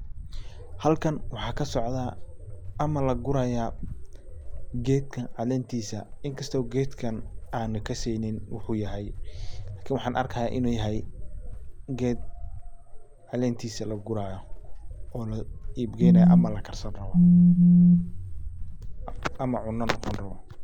Halkan waxaa kasocda ama laguraya geedka calentiisa inkasto geedkan aana kaseynin waxuu yahay. Lakin waxaan arkaya inu yahay geed calentiisa laguraaya oona la iib geynaayo ama lakarsanayo ama cuna lacuni raba.